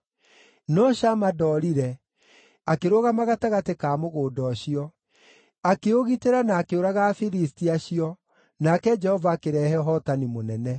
No Shama ndoorire, akĩrũgama gatagatĩ ka mũgũnda ũcio. Akĩũgitĩra na akĩũraga Afilisti acio, nake Jehova akĩrehe ũhootani mũnene.